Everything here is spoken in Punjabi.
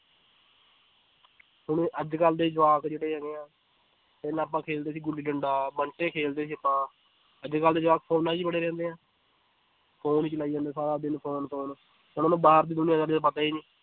ਹੁਣ ਅੱਜ ਕੱਲ੍ਹ ਦੇ ਜਵਾਕ ਜਿਹੜੇ ਹੈਗੇ ਹੈ, ਪਹਿਲਾਂ ਆਪਾਂ ਖੇਡਦੇ ਸੀ ਗੁੱਲੀ ਡੰਡਾ ਬੰਟੇ ਖੇਡਦੇ ਸੀ ਆਪਾਂ ਅੱਜ ਕੱਲ੍ਹ ਦੇ ਜਵਾਕ ਫ਼ੋਨਾਂ ਵਿੱਚ ਹੀ ਬੜੇ ਰਹਿੰਦੇ ਹੈ phone ਹੀ ਚਲਾਈ ਜਾਂਦੇ ਹੈ ਸਾਰਾ ਦਿਨ phone phone ਉਹਨਾਂ ਨੂੰ ਬਾਹਰ ਦੀ ਦੁਨੀਆਂ ਦਾ ਪਤਾ ਹੀ ਨੀ